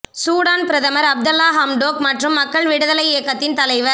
Sudan பிரதமர் Abdalla Hamdok மற்றும் மக்கள் விடுதலை இயக்கத்தின் தலைவர்